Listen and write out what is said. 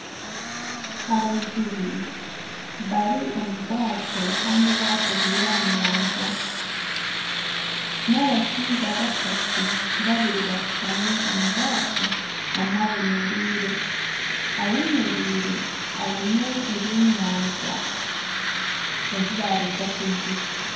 Abajubi bari omu bwaato Kandi obwaato buri aha nyanja nabashaija bashatu babiri bashutami omu bwaato omwe ayemereire ,ayemereire aine ebyenyanja ebi baruga kujuba .